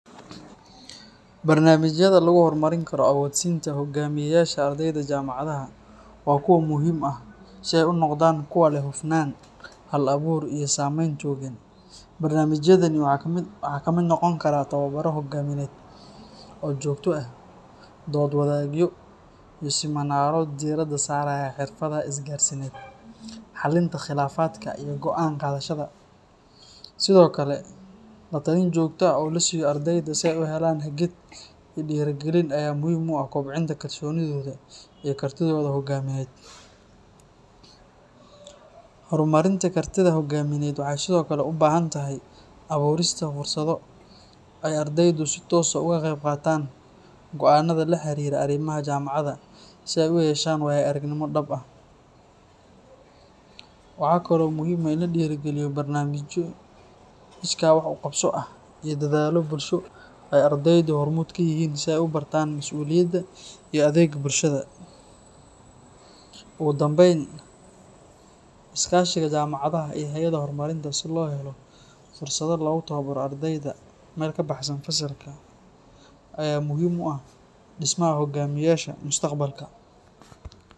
Bar namijaada lagu hor marin karo hogaminta ardeyda jamacadhaha waa kuwa muhiim ah si ee u noqdan kuwa leh amusnan iyo hal abur samen barnamijaadan waxaa kamiid noqon karaa oo jogto ah, hormarinta hogamiye waxaa kamiid ah dursaado, waxaa kalo kamiid ah in lahirmariyo, ugu danben iskashiga jamacadhaha iyo hayaadaha hormarinta si lo helo fursaado lagu tawabaro ardeeyda meel kabaxsan fasalka aya muhiim u ah dismaha hogamiyasha ee dismaha.